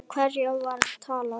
Við hverja var talað?